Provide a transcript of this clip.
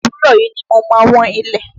Òwúrọ̀ yìí ni mo ma wọ́n ilẹ̀.